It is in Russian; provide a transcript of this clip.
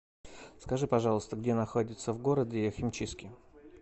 скажи пожалуйста где находятся в городе химчистки